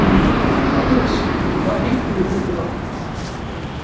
Hannes, hvað heitir þú fullu nafni?